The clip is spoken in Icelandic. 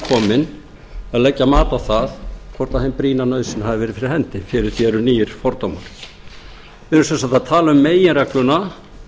umkominn að leggja mat á það hvort hin brýna nauðsyn hafi verið fyrir hendi fyrir því eru nýir fordómar við erum sem sagt að tala um meginregluna